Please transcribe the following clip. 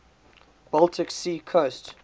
baltic sea coast